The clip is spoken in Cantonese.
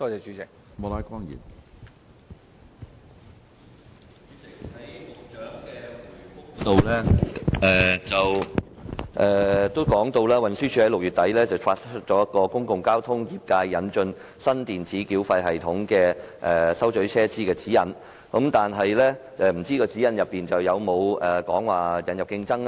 主席，局長在主體答覆中提到，運輸署在6月底發出"公共交通業界引進新電子繳費系統收取車資指引"，但不知道該指引有否提及要引入競爭呢？